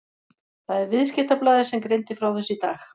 Það er Viðskiptablaðið sem greindi frá þessu í dag.